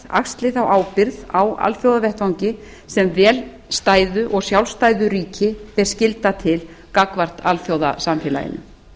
axli þá ábyrgð á alþjóðavettvangi sem vel stæðu og sjálfstæðu ríki ber skylda til gagnvart alþjóðasamfélaginu